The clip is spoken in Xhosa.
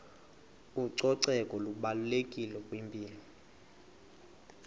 ucoceko lubalulekile kwimpilo